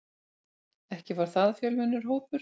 Ekki var það fjölmennur hópur.